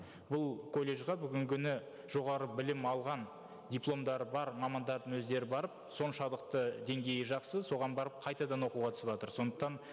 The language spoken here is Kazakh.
бұл колледжге бүгінгі күні жоғары білім алған дипломдары бар мамандардың өздері барып соншалықты деңгейі жақсы соған барып қайтадан оқуға түсіватыр сондықтан